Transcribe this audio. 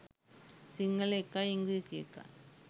සිංහල එකයි ඉංග්‍රීසි එකයි